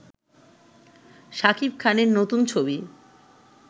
সাকিব খানের নতুন ছবি